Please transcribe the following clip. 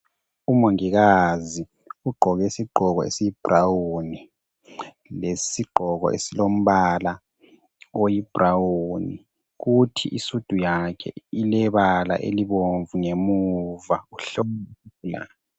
Umongikazi ugqoke izigqoko esiyibrawuni lesi sigqoko esilombala oyibrawuni kuthi isudu yakhe ilebala elibomvu ngemuva uhlola.